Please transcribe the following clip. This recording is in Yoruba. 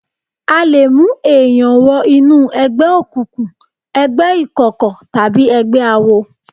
A lè mú èèyàn wọ inú ẹgbẹ́ òkùnkùn, ẹgbẹ́ ìkọ̀kọ̀ tàbí ẹgbẹ́ awo